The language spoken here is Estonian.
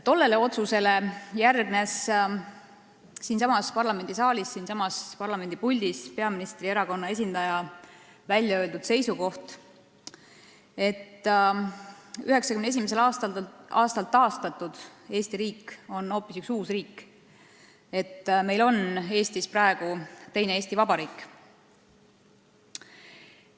Tollele otsusele järgnes siinsamas parlamendisaalis, siinsamas puldis peaministrierakonna esindaja väljaöeldud seisukoht, et 1991. aastal taastatud Eesti riik on hoopis üks uus riik, et meil on Eestis praegu teine Eesti Vabariik.